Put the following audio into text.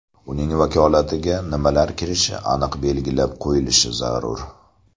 Uning vakolatiga nimalar kirishi aniq belgilab qo‘yilish zarur.